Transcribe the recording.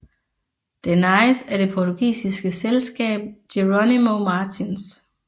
Den ejes af det portugisiske selskab Jerónimo Martins